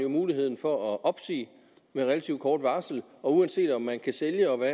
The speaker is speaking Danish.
muligheden for at opsige med relativt kort varsel og uanset om man kan sælge og hvad